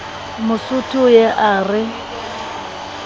mosotho o ye a re